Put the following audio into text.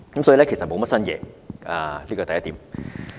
所以，預算案並無新猷，這是第一點。